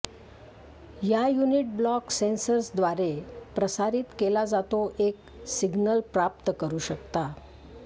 या unit block sensors द्वारे प्रसारित केला जातो एक सिग्नल प्राप्त करू शकता